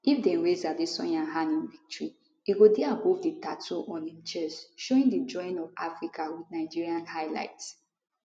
if dem raise adesanya hand in victory e go dey above di tattoo on im chest showing di drawing of africa wit nigeria highlight